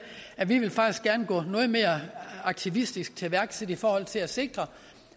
at vi faktisk gerne ville gå noget mere aktivistisk til værks i forhold til at sikre